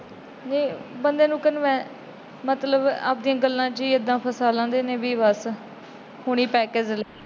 ਬੰਦੇ ਨੂੰ ਮਤਲਬ ਆਪਣੀਆਂ ਗੱਲਾਂ ਚ ਏਦਾਂ ਫਸਾ ਲੈਂਦੇ ਨੇ ਕਿ ਬੱਸ।